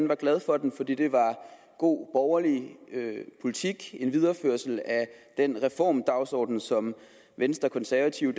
var glad for den fordi det er god borgerlig politik en videreførsel af den reformdagsorden som venstre konservative